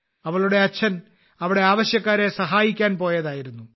അവളുടെ അച്ഛൻ അവിടെ ആവശ്യക്കാരെ സഹായിക്കാൻ പോയതായിരുന്നു